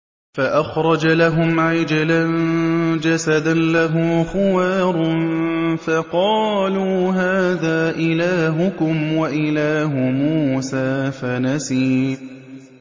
فَأَخْرَجَ لَهُمْ عِجْلًا جَسَدًا لَّهُ خُوَارٌ فَقَالُوا هَٰذَا إِلَٰهُكُمْ وَإِلَٰهُ مُوسَىٰ فَنَسِيَ